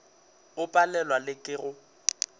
o palelwa le ke go